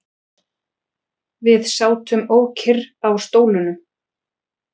Við sátum ókyrr á stólunum.